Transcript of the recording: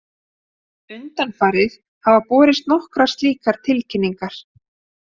Undanfarið hafa borist nokkrar slíkar tilkynningar